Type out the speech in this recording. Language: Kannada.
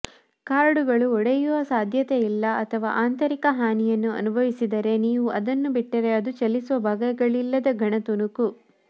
ಕಾರ್ಡುಗಳು ಒಡೆಯುವ ಸಾಧ್ಯತೆಯಿಲ್ಲ ಅಥವಾ ಆಂತರಿಕ ಹಾನಿಯನ್ನು ಅನುಭವಿಸಿದರೆ ನೀವು ಅದನ್ನು ಬಿಟ್ಟರೆ ಅದು ಚಲಿಸುವ ಭಾಗಗಳಿಲ್ಲದ ಘನ ತುಣುಕು